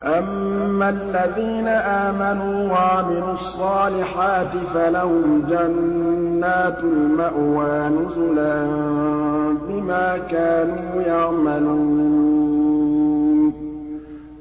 أَمَّا الَّذِينَ آمَنُوا وَعَمِلُوا الصَّالِحَاتِ فَلَهُمْ جَنَّاتُ الْمَأْوَىٰ نُزُلًا بِمَا كَانُوا يَعْمَلُونَ